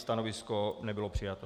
Stanovisko nebylo přijato.